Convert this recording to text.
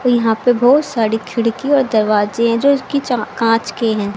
यहां पे बहोत सारी खिड़की और दरवाजे हैं जो इसकी चा कांच के हैं।